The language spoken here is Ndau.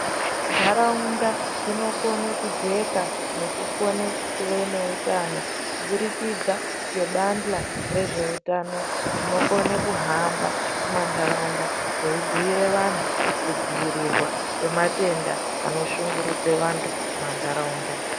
Nharaunda dzinokona kujeka nekukona kuva nehutano kuburikidza nebanhla rezvehutano rinokona kuhamba mumandaraunda reibhuira antu kudzivirirwa kwematenda anoshungurudza antu mumandaraunda.